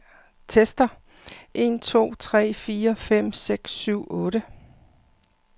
Tester en to tre fire fem seks syv otte.